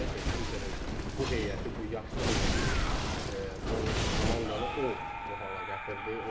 Çünki Interin bu heyəti, bu yaşlı heyəti, bu komandanı o bu hala gətirdi.